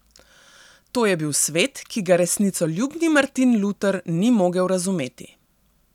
To je bil svet, ki ga resnicoljubni Martin Luter ni mogel razumeti.